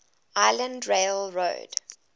island rail road